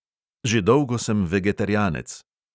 Že dolgo sem vegetarijanec.